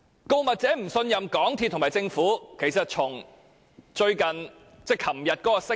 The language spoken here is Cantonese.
告密者不信任港鐵公司和政府，可見於最近一項聲明。